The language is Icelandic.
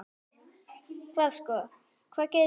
Hvað sko, hvað gerist hérna?